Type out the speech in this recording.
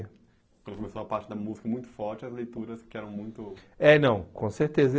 Quando começou a parte da música muito forte, as leituras que eram muito... É, não, com certeza.